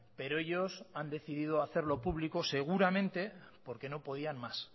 pero ellos han decidido hacerlo público seguramente porque no podían más